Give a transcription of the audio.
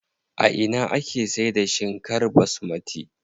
A ina ake saida shinkar basmati?